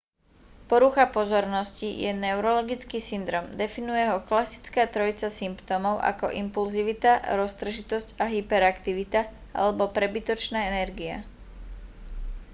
porucha pozornosti je neurologický syndróm definuje ho klasická trojica symptómov ako impulzivita roztržitosť a hyperaktivita alebo prebytočná energia